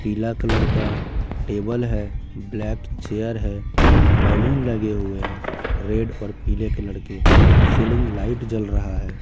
पीला कलर का टेबल है ब्लैक चेयर है बैलून लगे हुए हैं रेड और पीले कलर के सीलिंग लाइट जल रहा है।